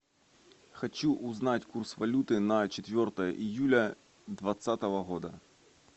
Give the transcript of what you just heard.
хочу узнать курс валюты на четвертое июля двадцатого года